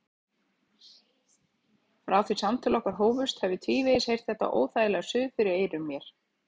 Frá því samtöl okkar hófust hef ég tvívegis heyrt þetta óþægilega suð fyrir eyrum mér.